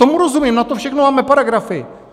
Tomu rozumím, na to všechno máme paragrafy.